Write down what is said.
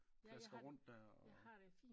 Plasker rundt dér og